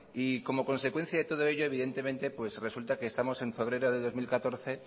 y como consecuencia de todo ello evidentemente resulta que estamos en febrero del dos mil catorce